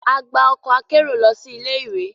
A gba ọkọ akero lọ si ilé-ìwé.